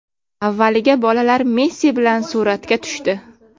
Avvaliga bolalar Messi bilan suratga tushdi.